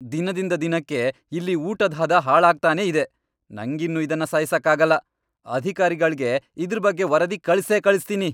ದಿನದಿಂದ ದಿನಕ್ಕೆ ಇಲ್ಲಿ ಊಟದ್ ಹದ ಹಾಳಾಗ್ತಾನೇ ಇದೆ. ನಂಗಿನ್ನು ಇದ್ನ ಸಹಿಸಕ್ಕಾಗಲ್ಲ, ಅಧಿಕಾರಿಗಳ್ಗೆ ಇದ್ರ್ ಬಗ್ಗೆ ವರದಿ ಕಳ್ಸೇ ಕಳಿಸ್ತೀನಿ.